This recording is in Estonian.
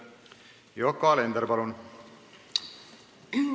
Yoko Alender, palun!